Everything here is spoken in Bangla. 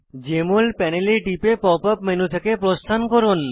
জেএমএল প্যানেলে টিপে pop ইউপি মেনু থেকে প্রস্থান করুন